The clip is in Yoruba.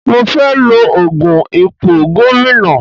Mo fẹ́ lọ fún ipò gómìnà.